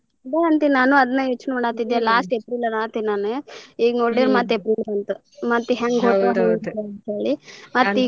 ಅದ ಅಂತಿನ ನಾನು ಅದನ್ನ ಯೋಚನೆ ಮಾಡತಿದ್ದೆ last ಏಪ್ರಿಲ್ ಈಗ ನೋಡಿರ ಮತ್ತ್ ಏಪ್ರಿಲ್ ಬಂತ್ .